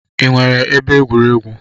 Unu nwere ebe egwuregwu?